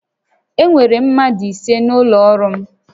Enwere mmadụ ise n'ụlọ ọrụ m